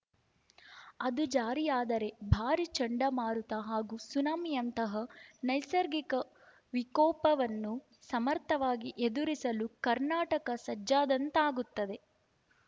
ಅದು ಜಾರಿಯಾದರೆ ಭಾರಿ ಚಂಡಮಾರುತ ಹಾಗೂ ಸುನಾಮಿಯಂತಹ ನೈಸರ್ಗಿಕ ವಿಕೋಪವನ್ನು ಸಮರ್ಥವಾಗಿ ಎದುರಿಸಲು ಕರ್ನಾಟಕ ಸಜ್ಜಾದಂತಾಗುತ್ತದೆ